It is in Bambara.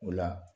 O la